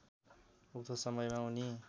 उक्त समयमा उनी